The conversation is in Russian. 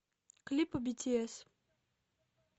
клипы бтс